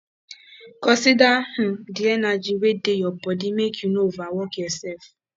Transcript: consider um di energy wey dey your body make you no overwork yourself